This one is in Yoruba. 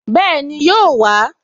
Bẹ́ẹ̀ni, yóò wà á